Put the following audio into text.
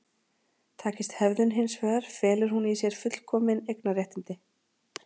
takist hefðun hins vegar felur hún í sér fullkomin eignarréttindi